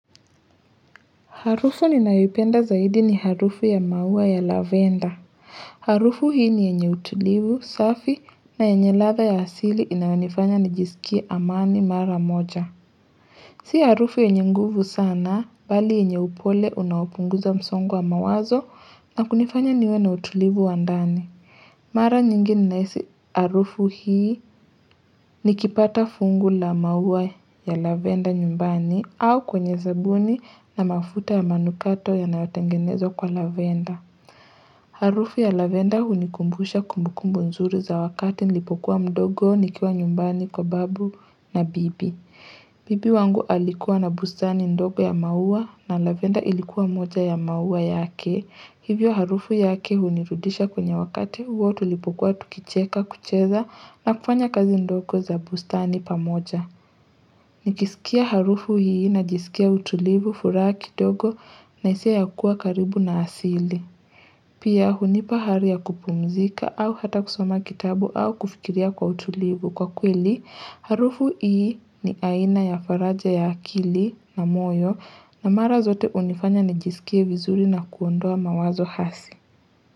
Harufu ninayoipenda zaidi ni harufu ya maua ya lavender. Harufu hii ni yenye utulivu, safi na enye ladha ya asili inayonifanya nijisikie amani mara moja. Si harufu yenye nguvu sana bali yenye upole unaopunguza msongo wa mawazo na kunifanya niwe na utulivu wa ndani. Mara nyingi nahisi harufu hii nikipata fungu la maua ya lavender nyumbani au kwenye sabuni na mafuta ya manukato yanatengenezwa kwa lavender. Harufu ya lavender hunikumbusha kumbukumbu nzuri za wakati nilipokuwa mdogo nikiwa nyumbani kwa babu na bibi. Bibi wangu alikuwa na bustani ndogo ya maua na lavender ilikuwa moja ya maua yake. Hivyo harufu yake hunirudisha kwenye wakati huo tulipokuwa tukicheka kucheza na kufanya kazi ndogo za bustani pamoja. Nikisikia harufu hii najisikia utulivu furaha kidogo na hisia ya kuwa karibu na asili. Pia hunipa hari ya kupumzika au hata kusoma kitabu au kufikiria kwa utulivu. Kwa kweli, harufu hii ni aina ya faraja ya akili na moyo na mara zote hunifanya nijisikie vizuri na kuondoa mawazo hasi.